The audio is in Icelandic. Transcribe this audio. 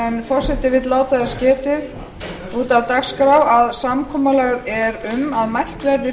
forseti vill láta þess getið út af dagskrá að samkomulag er um að mælt verði